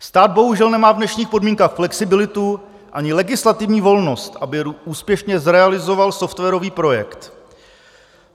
Stát bohužel nemá v dnešních podmínkách flexibilitu ani legislativní volnost, aby úspěšně realizoval softwarový projekt.